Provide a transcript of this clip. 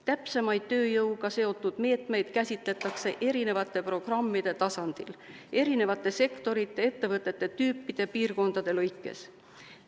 Täpsemaid tööjõuga seotud meetmeid käsitletakse erinevate programmide tasandil erinevate sektorite, ettevõtete tüüpide, piirkondade lõikes.